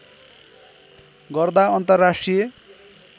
गर्दा अन्तर्राष्ट्रिय